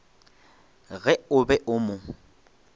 ge o be o mo